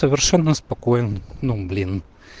совершенно спокоен ну блин